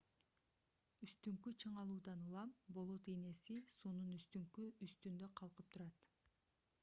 үстүңкү чыңалуудан улам болот ийнеси суунун үстүндө калкып турат